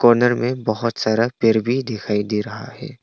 Honour में बहोत सारा पेड़ भी दिखाई दे रहा है।